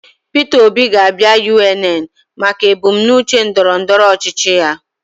Peter Obi ga-abịa UNN maka ebumnuche ndọrọndọrọ ọchịchị ya